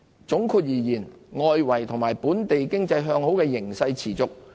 總括而言，外圍及本地經濟向好的形勢持續。